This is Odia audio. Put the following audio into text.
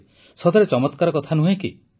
ସତରେ ଚମତ୍କାର କଥା ନୁହେଁ କି